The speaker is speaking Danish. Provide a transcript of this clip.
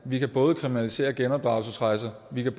vi kan både kriminalisere genopdragelsesrejser vi kan